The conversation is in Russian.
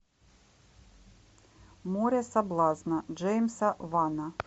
море соблазна джеймса вана